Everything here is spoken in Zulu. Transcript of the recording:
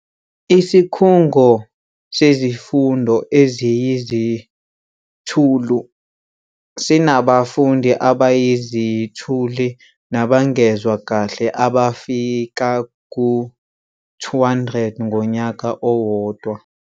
Isikhungo Sezifundo Eziyizithulu sinabafundi abayiziThulu nabangezwa kahle abafika ku-200 ngonyaka owodwa.